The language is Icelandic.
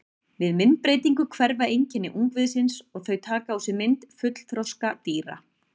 Við myndbreytingu hverfa einkenni ungviðisins og þau taka á sig mynd fullþroska dýra.